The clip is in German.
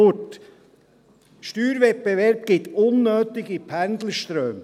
Der Steuerwettbewerb erzeugt unnötige Pendlerströme.